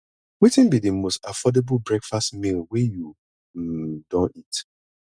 wetin be di most affordable breakfast meal wey you um don eat